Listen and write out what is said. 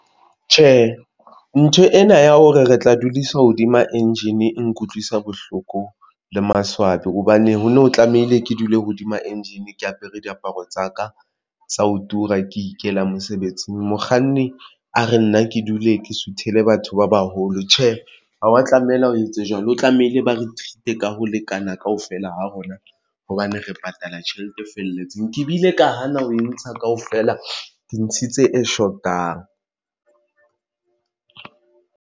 Tjhe, ntho ena ya hore re tla dudiswa hodima engine e nkutlwisa bohloko le maswabi hobane ho no tlamehile ke dule hodima engine ke apere diaparo tsa ka tsa ho tura ke ikela mosebetsing. Mokganni a re nna ke dule ke suthele batho ba baholo. Tjhe, o tlamehile, o etse jwalo, o tlamehile ba re treat-a ka ho lekana kaofela ha rona hobane re patala tjhelete e felletseng. BKe bile ka hana ho e ntsha kaofela ke ntshitse tse e shotang.